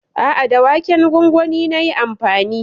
A'a, da waken gwangwani nayi amfani.